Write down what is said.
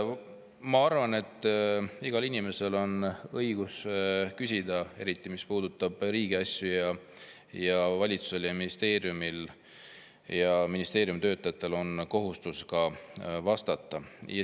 Ma arvan, et igal inimesel on õigus küsida, eriti mis puudutab riigi asju, ja valitsusel, ministeeriumil ja ministeeriumi töötajatel on kohustus vastata.